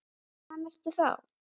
Hvaðan ertu þá?